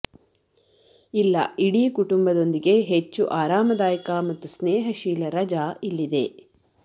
ಇಲ್ಲ ಇಡೀ ಕುಟುಂಬದೊಂದಿಗೆ ಹೆಚ್ಚು ಆರಾಮದಾಯಕ ಮತ್ತು ಸ್ನೇಹಶೀಲ ರಜಾ ಇಲ್ಲಿದೆ